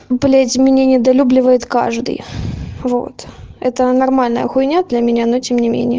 блять меня недолюбливает каждый вот это нормальная хуйнч для меня на тем не менее